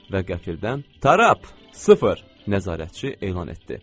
Və qəfildən, Tarap, sıfır, nəzarətçi elan etdi.